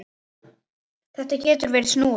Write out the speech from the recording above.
Þetta getur verið snúið.